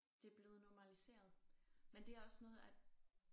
Det blevet normaliseret men det er også noget at